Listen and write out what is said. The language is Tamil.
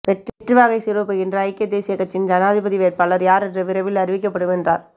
வெற்றிவாகை சூடப்போகின்ற ஐக்கிய தேசியக் கட்சியின் ஜனாதிபதி வேட்பாளர் யார் என்று விரைவில் அறிவிக்கப்படும் என்றார்